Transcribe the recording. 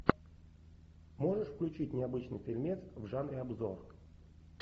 можешь включить необычный фильмец в жанре обзор